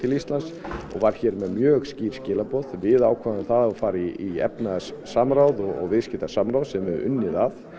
Íslands og var hér með mjög skýr skilaboð við ákváðum það að fara í efnahagssamráð og viðskiptasamráð sem við höfum unnið að